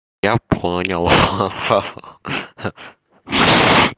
я понял ха-ха